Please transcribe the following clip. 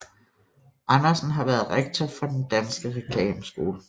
Andersen har været rektor for Den Danske Reklameskole